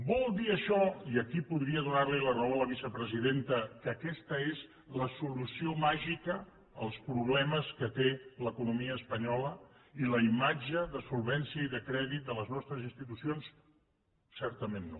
vol dir això i aquí podria donar li la raó a la vicepresidenta que aquesta és la solució màgica als problemes que té l’economia espanyola i la imatge de solvència i de crèdit de les nostres institucions certament no